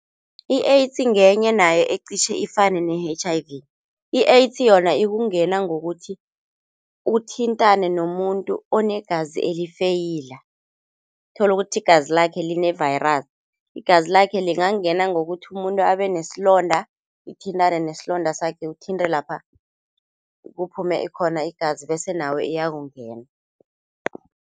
I-AIDS ngenye nayo iqitjhe ifane ne-H_I_V. I-AIDS yona ukungena ngokuthi uthintane nomuntu onegazi elifeyila, tholukuthi igazi lakhe line-virus igazi lakhe lingangena ngokuthi umuntu abenesilonda lithintane nesilonda sakhe lithinte lapha kuphume khona igazi bese nawe iyakungena.